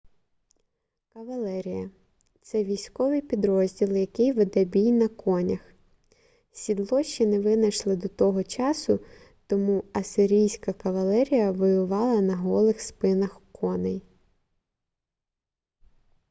кавалерія це військовий підрозділ який веде бій на конях сідло ще не винайшли до того часу тому ассирійська кавалерія воювала на голих спинах коней